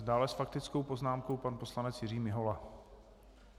Dále s faktickou poznámkou pan poslanec Jiří Mihola.